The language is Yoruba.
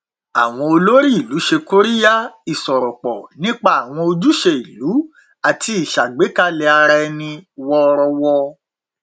àwọn olórí ìlú ṣe kóríyá ìsọrọpọ nípa àwọn ojúṣe ìlú àti ìṣàgbékalẹ ara ẹni wọrọwọ